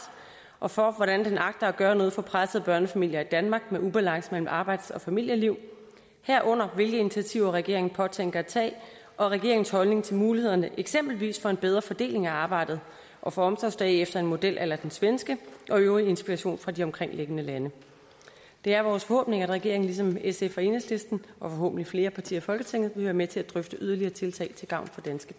og for hvordan den agter at gøre noget for pressede børnefamilier i danmark med ubalance mellem arbejds og familieliv herunder hvilke initiativer regeringen påtænker at tage og regeringens holdning til mulighederne eksempelvis for en bedre fordeling af arbejdet og for omsorgsdage efter en model a la den svenske og øvrig inspiration fra de omkringliggende lande det er vores forhåbning at regeringen ligesom sf og enhedslisten og forhåbentlig flere partier i folketinget vil være med til at drøfte yderligere tiltag til gavn